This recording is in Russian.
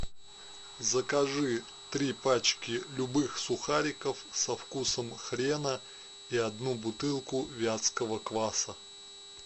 закажи три пачки любых сухариков со вкусом хрена и одну бутылку вятского кваса